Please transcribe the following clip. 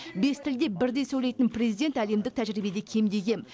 бес тілде бірдей сөйлейтін президент әлемдік тәжірибеде кемде кем